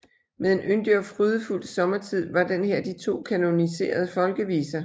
Med En yndig og frydefuld sommertid var den her de to kanoniserede folkeviser